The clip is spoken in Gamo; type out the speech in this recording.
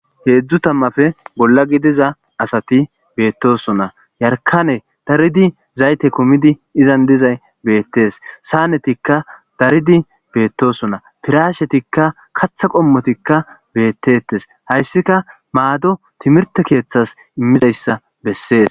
heedzdzu tammafe bolla gidiza asati beettosona yarkane daridi zayte komidi izan dizay beettees saanetikka daridi beettosona tirashetikka katha qommotikka beettettes hayssika maado timirte keeththas immizayssa bessees